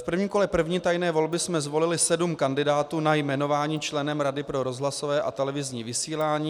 V prvním kole první tajné volby jsme zvolili sedm kandidátů na jmenování členem Rady pro rozhlasové a televizní vysílání.